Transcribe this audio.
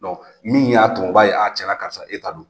min y'a to u b'a ye cɛn na karisa e ta don.